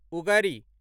उगड़ि